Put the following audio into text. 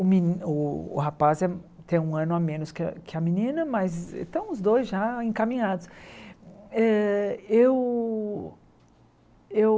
O meni o rapaz é tem um ano a menos que a que a menina, mas estão os dois já encaminhados. Eh eu eu